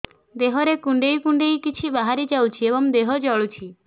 ଦେହରେ କୁଣ୍ଡେଇ କୁଣ୍ଡେଇ କିଛି ବାହାରି ଯାଉଛି ଏବଂ ଦେହ ଜଳୁଛି